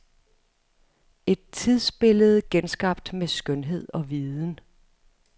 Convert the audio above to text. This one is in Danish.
Et tidsbillede genskabt med skønhed og viden.